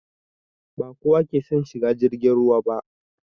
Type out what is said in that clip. Ba kowa ke son shigan jirgin ruwa ba